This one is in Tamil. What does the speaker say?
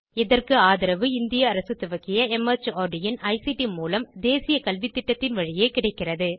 இதற்கு ஆதரவு இந்திய அரசு துவக்கிய மார்ட் இன் ஐசிடி மூலம் தேசிய கல்வித்திட்டத்தின் வழியே கிடைக்கிறது